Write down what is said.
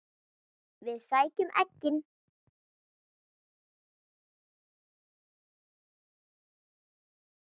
Við sækjum eggin.